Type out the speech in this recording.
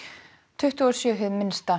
tuttugu og sjö hið minnsta